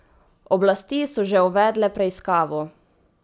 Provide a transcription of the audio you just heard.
Oblasti so že uvedle preiskavo.